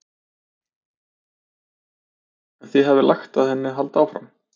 En þið hafið lagt að henni að halda áfram?